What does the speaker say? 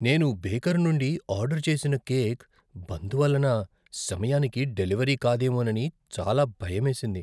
నేను బేకర్ నుండి ఆర్డర్ చేసిన కేక్, బంద్ వలన సమయానికి డెలివరీ కాదేమోనని చాలా భయమేసింది.